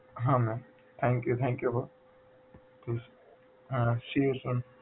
હા ma'am thank you thank you હો હા